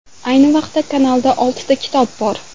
Ayni vaqtda kanalda oltita kitob bor.